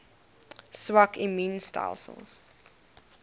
swak immuun stelsels